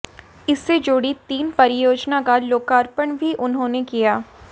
इससे जुड़ी तीन परियोजना का लोकार्पण भी उन्होंने किया